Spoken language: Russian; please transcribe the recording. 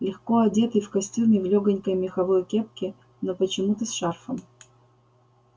легко одетый в костюме в лёгонькой меховой кепке но почему-то с шарфом